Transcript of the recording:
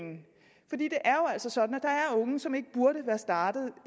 altså sådan at der er unge som ikke burde være startet